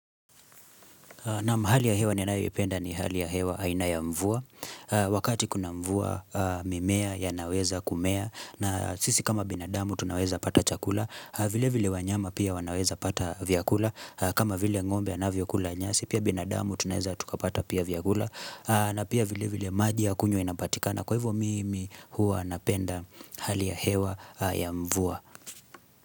Naam hali ya hewa ninayoipenda ni hali ya hewa aina ya mvua. Wakati kuna mvua mimea ya naweza kumea. Na sisi kama binadamu tunaweza pata chakula. Vile vile wanyama pia wanaweza pata vyakula. Kama vile ng'ombe anavyo kula nyasi. Pia binadamu tunaweza tukapata pia vyakula. Na pia vile vile maji ya kunywa inapatika. Na kwa hivyo mimi huwa napenda hali ya hewa ya mvua.